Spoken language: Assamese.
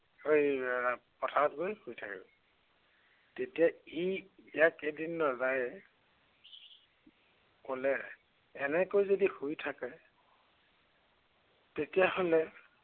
পথাৰত গৈ শুই থাকেগৈ। তেতিয়া ই ইয়াক এদিন ৰজায়ে ক'লে, এনেকৈ যদি শুই থাকে তেতিয়া হ'লে